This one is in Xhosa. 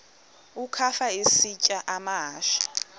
ukafa isitya amahashe